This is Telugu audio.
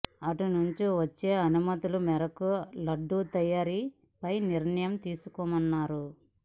అటు నుంచి వచ్చే అనుమతుల మేరకు లడ్డూ తయారీపై నిర్ణయం తీసుకోనున్నారు